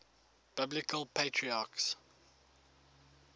biblical patriarchs